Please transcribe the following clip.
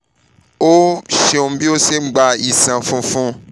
o ṣeun bi o ṣe n gba iṣan funfun